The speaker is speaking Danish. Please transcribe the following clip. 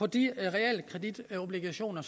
de realkreditobligationer